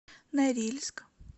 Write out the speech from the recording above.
норильск